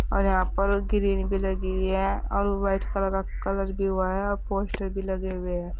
और यहां पर ग्रीन भी लगी हुई है और व्हाइट कलर का कलर भी हुआ है और पोस्टर भी लगे हुए हैं।